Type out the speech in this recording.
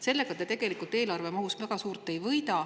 Sellega te tegelikult eelarve mahus väga palju ei võida.